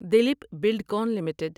Dilip Buildcon limited